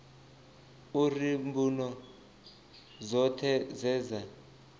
uri mbuno dzoṱhe dze dza